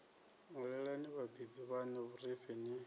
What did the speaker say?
ṅwalelani vhabebi vhaṋu vhurifhi ni